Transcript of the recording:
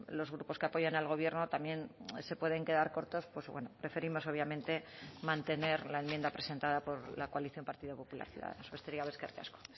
los grupos que apoyan al gobierno también se pueden quedar cortos pues bueno preferimos obviamente mantener la enmienda presentada por la coalición partido popular ciudadanos besterik gabe eskerrik asko